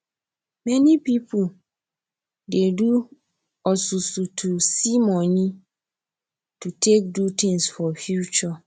many pipo dey do osusu to see moni to take do tins for future